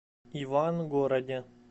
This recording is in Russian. ивангороде